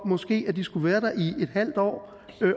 måske skulle være der i et halvt år